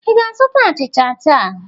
Ị ga-azụta achịcha taa?